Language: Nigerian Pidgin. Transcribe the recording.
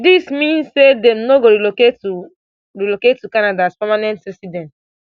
dis mean say dem no go relocate to relocate to canada as permanent residents